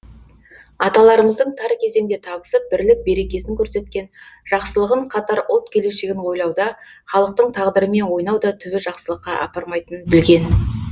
аталарымыздың тар кезеңде табысып бірлік берекесін көрсеткен жақсылығын қатар ұлт келешегін ойлауда халықтың тағдырымен ойнау да түбі жақсылыққа апармайтынын білген